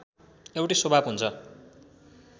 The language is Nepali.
एउटै स्वभाव हुन्छ